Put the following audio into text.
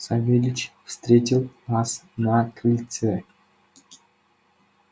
савельич встретил нас на крыльце